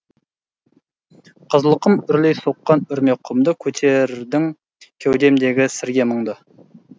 қызылқұм үрлей соққан үрме құмды көтердің кеудемдегі сірге мұңды